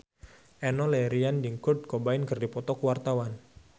Enno Lerian jeung Kurt Cobain keur dipoto ku wartawan